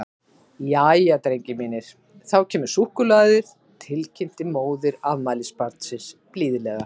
Jæja, drengir mínir, þá kemur súkkulaðið, til kynnti móðir afmælisbarnsins blíðlega.